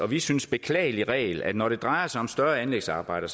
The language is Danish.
vi synes beklagelig regel at når det drejer sig om større anlægsarbejder